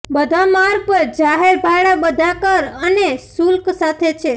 બધા માર્ગ પર જાહેર ભાડા બધા કર અને શુલ્ક સાથે છે